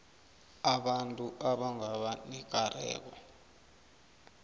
abantu abangaba nekareko